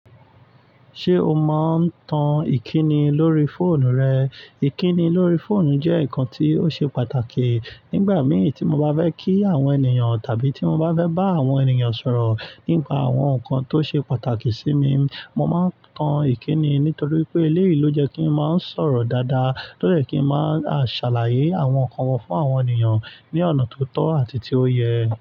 Ṣé o mọ ń tan ìkíni lórí fóònù rẹ? Ìkíni lórí fóònù jẹ́ nǹkan tí ó ṣe pàtàkì. Nígbà mìí tí mo bá fẹ́ kí àwọn ènìyàn tàbí tí mo bá fẹ́ bá àwọn ènìyàn sọ̀rọ̀ nípa àwọn nǹkan tó ṣe pàtàkì sí mi, mo máa ń tan ìkíni. Nítorí pé eléyìí ló jẹ́ kí ń máa ń sọ̀rọ̀ dáadáa, tó jẹ́ kí ń máa ṣàlàyé àwọn nǹkan wọn fún àwọn ènìyàn ní ọ̀nà tó tọ́ àti tí ó yẹ.